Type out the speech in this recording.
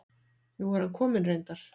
Nú er hann kominn reyndar.